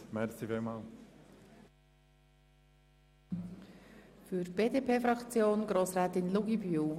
Für die BDP-Fraktion spricht die Grossrätin Luginbühl.